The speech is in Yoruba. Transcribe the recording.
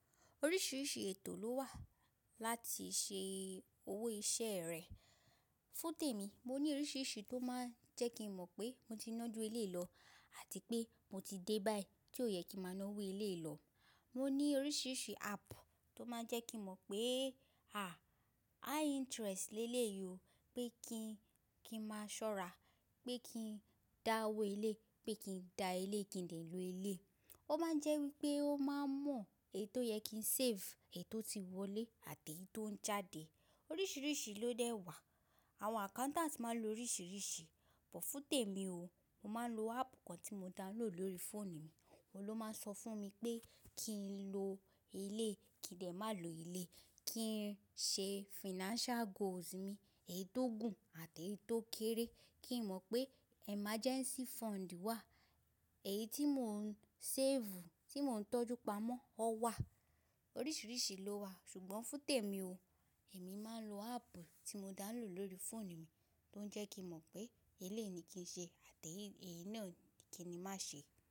Oríṣiríṣi ètò ló wà láti ṣe owó iṣẹ́ rẹ̀. Fún tèmi, mo ní oríṣiríṣi tó máa ń jẹ́ kí n mọ̀ pé mo ti ń ná ju eléì lọ àti pé mo ti dé báyìí tí ó yẹ kí n máa ná owó eléì lọ. Mo ní oríṣiríṣi app tó máa ń jẹ́ kí n mọ̀ pé, à, high interest lélè yìí o, pé kí n, kí n máa ṣọ́ra, pé kí n dá owó eléì, pé kí n da eléì kí n lè lo eléì. Ó máa ń jẹ́ wípé ó máa ń mọ èyí tó yẹ kí n save, èyí tó ti wọlé àti èyí tó ń jáde. Oríṣiríṣi ló dẹ́ wà. Àwọn accountants máa ń lo oríṣiríṣi. Bù fún tèmi o, mo máa ń lo app kan tí mo download lórí phone mi, oló máa ń sọ fún mi pé kí n lo eléì, kí n lè má lo eléì, kí n ṣe financial goals mi, èyí tó gùn àti èyí tó kéré. Kí n mọ̀ pé emergency fund wà, èyí tí mò ń tọ́jú, tí mò ń tọ́jú pamọ́, ó wà. Oríṣiríṣi ló wà. Ṣùgbọ́n fún tèmi o, èmi máa ń lo app tí mo download lórí phone mi tó ń jẹ́ kí n mọ̀ pé eléì ni kí n ṣe àti èyí náà kí n má ṣe.